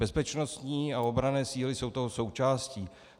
Bezpečnostní a obranné síly jsou toho součástí.